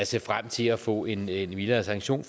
ser frem til at få en mildere sanktion